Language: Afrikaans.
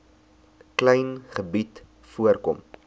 klein gebied voorkom